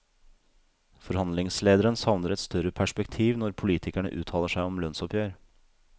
Forhandlingslederen savner et større perspektiv når politikerne uttaler seg om lønnsoppgjør.